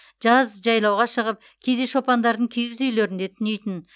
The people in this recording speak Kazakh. жаз жайлауға шығып кейде шопандардың киіз үйлерінде түнейтін